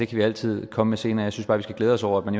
vi altid komme synes bare vi skal glæde os over at man